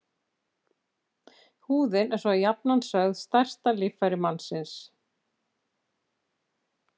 Húðin er svo jafnan sögð stærsta líffæri mannsins.